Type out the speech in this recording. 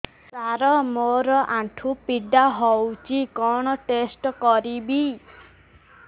ସାର ମୋର ଆଣ୍ଠୁ ପୀଡା ହଉଚି କଣ ଟେଷ୍ଟ କରିବି